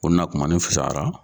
Ko n nakumanin fisayara.